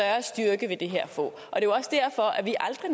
for